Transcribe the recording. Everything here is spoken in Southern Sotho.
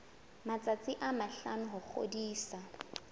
matsatsi a mahlano ho ngodisa